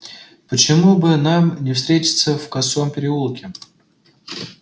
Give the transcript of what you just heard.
почему бы нам не встретиться в косом переулке